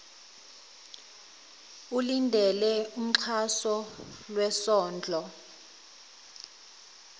ulindele umxhaso lwesondlo